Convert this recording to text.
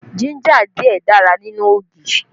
Jínjà díẹ̀ dára nínú ogi